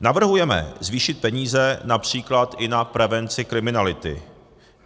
Navrhujeme zvýšit peníze například i na prevenci kriminality.